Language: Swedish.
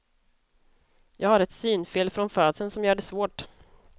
Jag har ett synfel från födseln som gör det svårt.